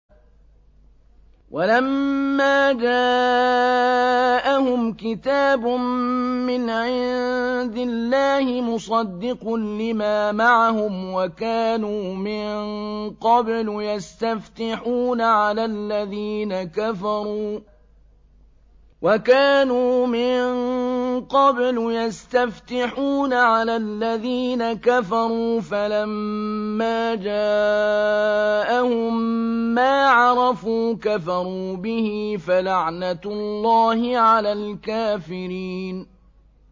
وَلَمَّا جَاءَهُمْ كِتَابٌ مِّنْ عِندِ اللَّهِ مُصَدِّقٌ لِّمَا مَعَهُمْ وَكَانُوا مِن قَبْلُ يَسْتَفْتِحُونَ عَلَى الَّذِينَ كَفَرُوا فَلَمَّا جَاءَهُم مَّا عَرَفُوا كَفَرُوا بِهِ ۚ فَلَعْنَةُ اللَّهِ عَلَى الْكَافِرِينَ